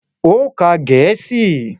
Ó ka Gẹ̀ẹ́sì!